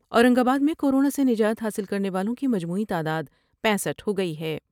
اورنگ آباد میں کورونا سے نجات حاصل کر نے والوں کی مجموعی تعداد پینسٹھ ہوگئی ہے ۔